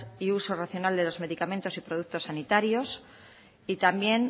y uso racional de los medicamentos y los productos sanitarios y también